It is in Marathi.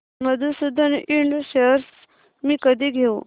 मधुसूदन इंड शेअर्स मी कधी घेऊ